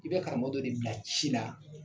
I bɛ karamɔgɔ don de bila ci la